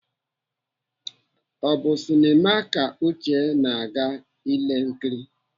Ọ bụ sinema ka Uche na-aga ile nkiri?